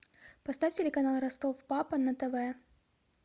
поставь телеканал ростов папа на тв